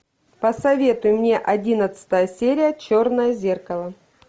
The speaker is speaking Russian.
посоветуй мне одиннадцатая серия черное зеркало